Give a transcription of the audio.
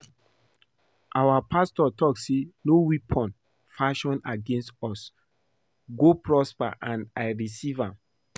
Our pastor talk say no weapon fashioned against us go prosper and I receive am